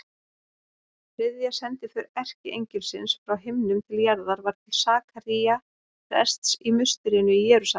Þriðja sendiför erkiengilsins frá himnum til jarðar var til Sakaría prests í musterinu í Jerúsalem.